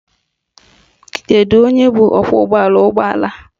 Kedu onye bụ ọkwọụgbọala ụgbọala?